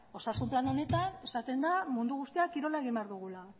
osasun plan honetan esaten da mundu guztiak kirola egin behar dugula